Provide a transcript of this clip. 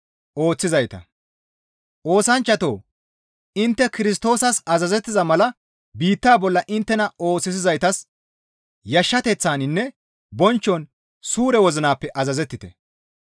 Oosanchchatoo! Intte Kirstoosas azazettiza mala biitta bolla inttena oosisizaytas yashshateththaninne bonchchon suure wozinappe azazettite.